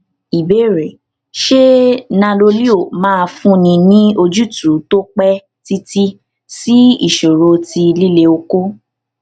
ìbéèrè ṣé nanoleo máa fúnni ní ojútùú tó pẹ títí sí ìṣòro ti lile oko